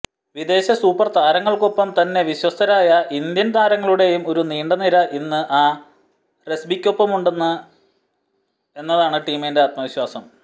വിദേശ സൂപ്പര് താരങ്ങള്ക്കൊപ്പം തന്നെ വിശ്വസ്തരായ ഇന്ത്യന് താരങ്ങളുടെയും ഒരു നീണ്ട നിര ഇന്ന് ആര്സിബിക്കൊപ്പമുണ്ട് എന്നതാണ് ടീമിന്റെ ആത്മവിശ്വാസം